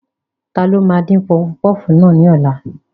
Ta ló máa dín pọfupọ́ọ̀fù náà ní ọ̀la?